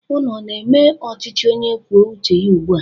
Ụnụ ọ na-eme ọchịchị onye kwuo uche ya ugbua?